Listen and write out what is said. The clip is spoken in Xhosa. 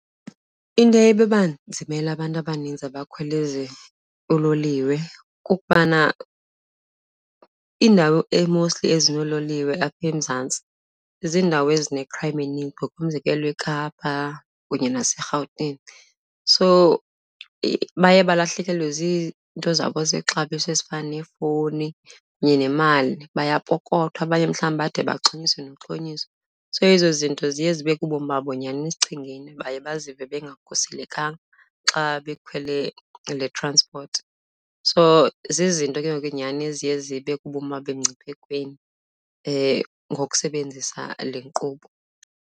Into eye ibanzimele abantu abaninzi abakhwela ezi uloliwe kukubana iindawo e-mostly ezinoololiwe apha eMzantsi ziindawo ezine-crime eninzi, ngokomzekelo eKapa kunye naseRhawutini. So baye balahlekelwe zinto zabo zexabiso ezifana neefowuni kunye nemali, bayapokothwa abanye mhlawumbi bade baxhonyiswe noxhonyiswa. So ezo zinto ziye zibeke ubomi babo nyhani esichengeni, baye bazive bengakhuselekanga xa bekhwele le-transport So zizinto ke ngoku ke nyhani eziye zibeke ubomi babo emngciphekweni ngokusebenzisa le nkqubo.